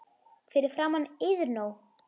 Fyrir framan Iðnó.